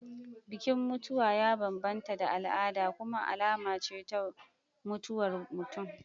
Bikin mutuwa ya bambanta da al'ada kuma alama ce ta mutuwar mutum.